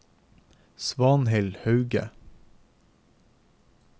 Svanhild Hauge